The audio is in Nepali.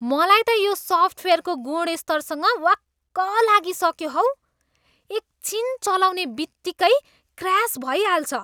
मलाई त यो सफ्टवेयरको गुणस्तरसँग वाक्क लागिसक्यो हौ। एकछिन चलाउने बित्तिकै क्र्यास भइहाल्छ।